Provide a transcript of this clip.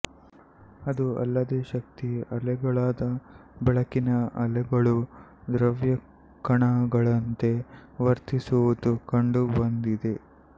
ಅದೂ ಅಲ್ಲದೆ ಶಕ್ತಿಯ ಅಲೆಗಳಾದ ಬೆಳಕಿನ ಅಲೆಗಳು ದ್ರವ್ಯಕಣಗಳಂತೆ ವರ್ತಿಸುವುದೂ ಕಂಡುಬಂದಿದೆ